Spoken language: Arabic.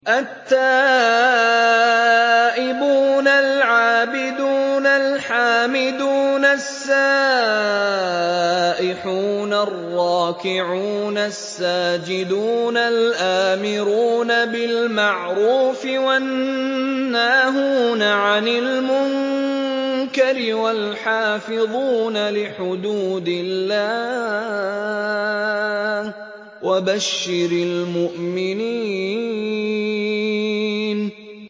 التَّائِبُونَ الْعَابِدُونَ الْحَامِدُونَ السَّائِحُونَ الرَّاكِعُونَ السَّاجِدُونَ الْآمِرُونَ بِالْمَعْرُوفِ وَالنَّاهُونَ عَنِ الْمُنكَرِ وَالْحَافِظُونَ لِحُدُودِ اللَّهِ ۗ وَبَشِّرِ الْمُؤْمِنِينَ